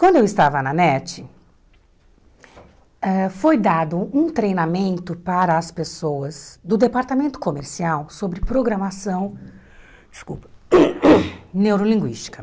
Quando eu estava na NET, ãh foi dado um treinamento para as pessoas do departamento comercial sobre programação desculpa neurolinguística.